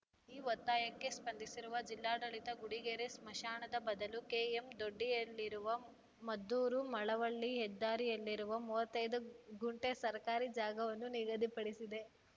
ಈ ಒತ್ತಾಯಕ್ಕೆ ಸ್ಪಂದಿಸಿರುವ ಜಿಲ್ಲಾಡಳಿತ ಗುಡಿಗೆರೆ ಸ್ಮಶಾನದ ಬದಲು ಕೆಎಂದೊಡ್ಡಿಯಲ್ಲಿರುವ ಮದ್ದೂರುಮಳವಳ್ಳಿ ಹೆದ್ದಾರಿಯಲ್ಲಿರುವ ಮೂವತ್ತೈದು ಗುಂಟೆ ಸರ್ಕಾರಿ ಜಾಗವನ್ನು ನಿಗದಿಪಡಿಸಿದೆ